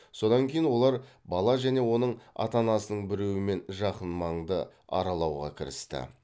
содан кейін олар бала және оның ата анасының біреуімен жақын маңды аралауға кірісті